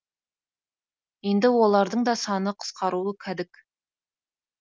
енді олардың да саны қысқаруы кәдік